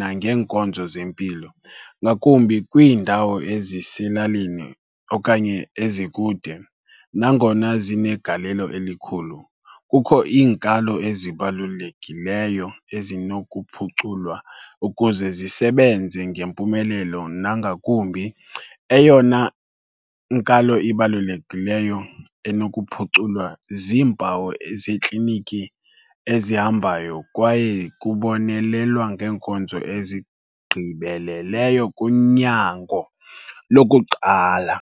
nangeenkonzo zempilo, ngakumbi kwiindawo eziselalini okanye ezikude. Nangona zinegalelo elikhulu, kukho iinkalo ezibalulekileyo ezinokuphuculwa ukuze zisebenze ngempumelelo nangakumbi. Eyona nkalo ibalulekileyo enokuphuculwa ziimpawu zeekliniki ezihambayo kwaye kubonelelwa ngeenkonzo ezigqibeleleyo kunyango lokuqala.